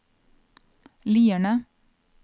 Lierne